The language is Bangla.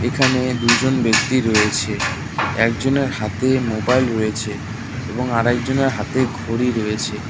এখানে দুইজন ব্যক্তি রয়েছে একজনের হাতে মোবাইল রয়েছে এবং আরেকজনের হাতে ঘড়ি রয়েছে।